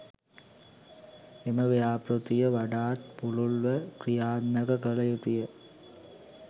එම ව්‍යාපෘතිය වඩාත් පුළුල්ව ක්‍රියාත්මක කළ යුතුය